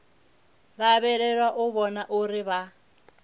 lavhelelwa u vhona uri vha